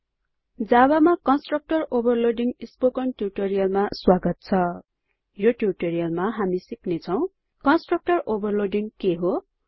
javaमा constructor overloading spoken ट्युटोरियलमा स्वागत छ यो ट्युटोरियलमा हामी सिक्नेछौं कन्स्ट्रक्टर ओभरलोडिङ के हो